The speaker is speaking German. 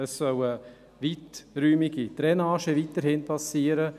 Es soll weiterhin eine weiträumige Drainage passieren.